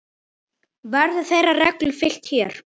Verður þeirri reglu fylgt hér.